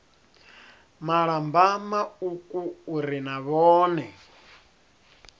malamba mauku uri na vhone